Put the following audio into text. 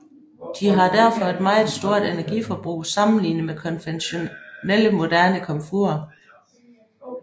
De har derfor et meget stort energiforbrug sammenligne med konventionelle moderne komfurer